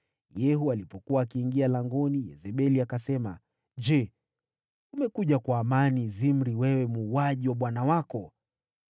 Yehu alipokuwa akiingia langoni, Yezebeli akasema, “Je, umekuja kwa amani, Zimri, wewe muuaji wa bwana wako?”